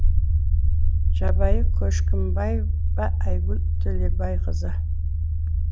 жұбайы көшкімбаева айгүл төлебайқызы